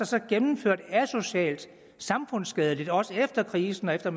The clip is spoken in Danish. sig gennemført asocialt og samfundsskadeligt også efter krisen og efter